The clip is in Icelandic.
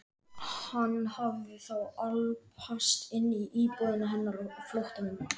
Hann hafði þá álpast inn í íbúðina hennar á flóttanum!